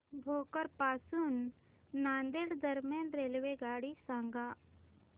भोकर पासून नांदेड दरम्यान रेल्वेगाडी सांगा